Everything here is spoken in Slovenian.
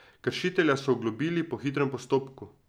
Kršitelja so oglobili po hitrem postopku.